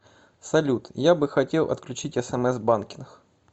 салют я бы хотел отключить смс банкинг